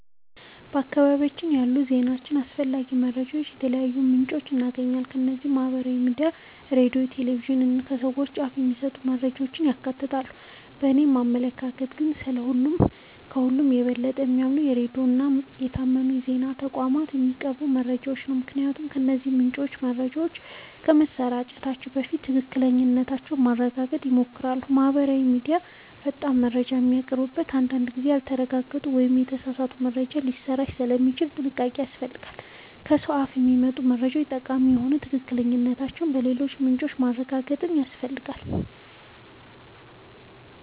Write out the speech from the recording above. በአካባቢያችን ያሉ ዜናዎችንና አስፈላጊ መረጃዎችን ከተለያዩ ምንጮች እናገኛለን። እነዚህም ማህበራዊ ሚዲያ፣ ሬዲዮ፣ ቴሌቪዥን እና ከሰዎች አፍ የሚሰሙ መረጃዎችን ያካትታሉ። በእኔ አመለካከት ግን፣ ከሁሉ የበለጠ የማምነው ሬዲዮን እና ከታመኑ የዜና ተቋማት የሚቀርቡ መረጃዎችን ነው። ምክንያቱም እነዚህ ምንጮች መረጃዎችን ከማሰራጨታቸው በፊት ትክክለኛነታቸውን ለማረጋገጥ ይሞክራሉ። ማህበራዊ ሚዲያ ፈጣን መረጃ ቢያቀርብም፣ አንዳንድ ጊዜ ያልተረጋገጡ ወይም የተሳሳቱ መረጃዎች ሊሰራጩበት ስለሚችሉ ጥንቃቄ ያስፈልጋል። ከሰው አፍ የሚመጡ መረጃዎችም ጠቃሚ ቢሆኑ ትክክለኛነታቸውን በሌሎች ምንጮች ማረጋገጥ ያስፈልጋል።